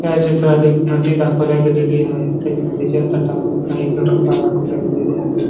या चित्रात एक नदी दाखवला गेलेली आहे तरी नदीच्या तटावर काही घर दाखवल्या गेलेले आहे.